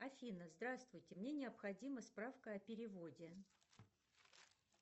афина здравствуйте мне необходима справка о переводе